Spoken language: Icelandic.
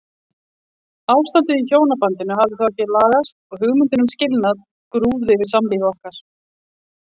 Ástandið í hjónabandinu hafði þó ekki lagast og hugmyndin um skilnað grúfði yfir samlífi okkar.